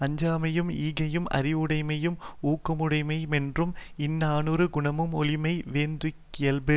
அஞ்சாமையும் ஈகையும் அறிவுடைமையும் ஊக்கமுடைமையுமென்றும் இந்நான்கு குணமும் ஒழியாமை வேந்தனுக்கியல்பு